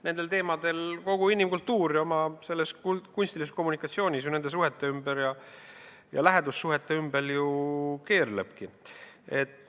Nende teemade ümber kogu inimkultuur oma kunstilises kommunikatsioonis, nende suhete ja lähedussuhete ümber ju keerlebki.